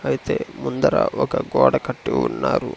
అయితే ముందర ఒక గోడ కట్టి ఉన్నారు.